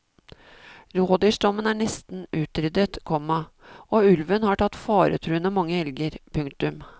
Rådyrstammen er nesten utryddet, komma og ulven har tatt faretruende mange elger. punktum